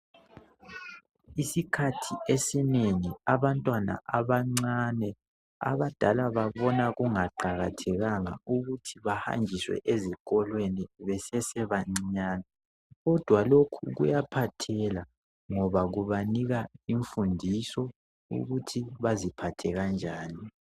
Isikhathi esinengi abantwana abancane, abadala babona kungaqakathekanga ukuthi bahanjiswe ezikolweni besesebancinyane. Kodwa lokhu kuyaphathisa ngoba banikwa imfundiso yokuthi baziphathe kanjani